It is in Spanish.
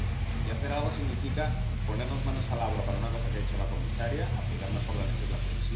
Y hacer algo significa ponernos manos a la obra para una cosa que ha dicho la comisaria aplicar mejor la legislación.